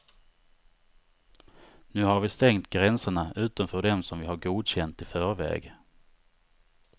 Nu har vi stängt gränserna utom för dem som vi har godkänt i förväg.